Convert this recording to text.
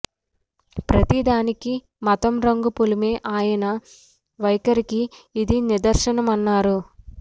ప్రతి దానికీ మతం రంగు పులిమే ఆయన వైఖరికి ఇది నిదర్శనమన్నారు